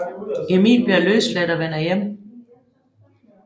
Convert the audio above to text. Emil bliver løsladt og vender hjem